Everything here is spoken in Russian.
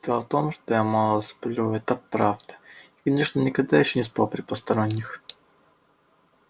дело в том что я мало сплю это правда и конечно никогда ещё не спал при посторонних